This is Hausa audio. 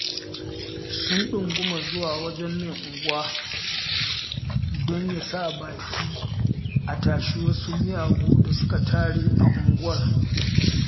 Sun ɗunguma zuwa wajen mai unguwa don ya sa baki a tashi wasu miyagu da suka tare a unguwar